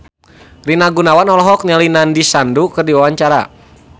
Rina Gunawan olohok ningali Nandish Sandhu keur diwawancara